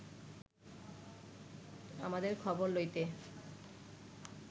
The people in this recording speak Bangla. আমাদের খবর লইতে